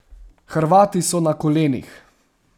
Hrvati so na kolenih!